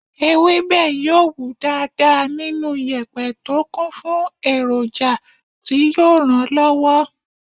Ewébẹ̀ yóò wù dáadáa nínú yèpẹ̀ tó kún fún èròjà tí yóò ràn lọ́wọ́.